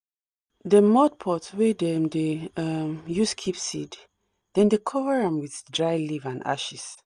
de mud pot wey dem dey um use keep seed dem dey cover am with dry leaf and ashes